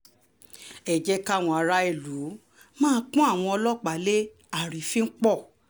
ẹ jẹ́ kí àwọn ará ìlú má pọ́n àwọn ọlọ́pàá lé àrífín pọ̀